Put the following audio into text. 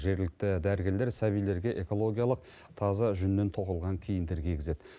жергілікті дәрігерлер сәбилерге экологиялық таза жүннен тоқылған киімдер кигізеді